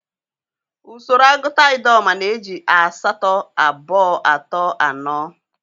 Usoro agụta Idoma na-eji aasaa, abòò, atòò, anòò,